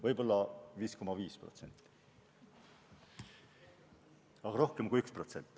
Võib-olla 5,5%, aga rohkem kui 1%.